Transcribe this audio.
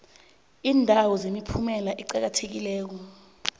iindawo zemiphumela eqakathekileko